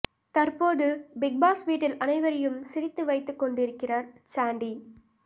தற்போது Bigg Boss வீட்டில் அனைவரையும் சிரித்து வைத்துக்கொண்டிருக்கிறார் சாண்டி